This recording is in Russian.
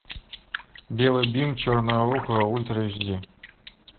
белый бим черное ухо ультра эч ди